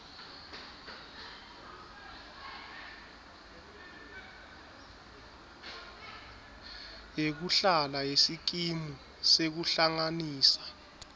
yekuhlala yesikimu sekuhlanganisa